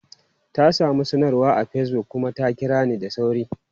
Ta samu sanarwa a Facebook kuma ta kira ni da sauri.